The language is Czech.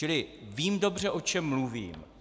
Čili vím dobře, o čem mluvím.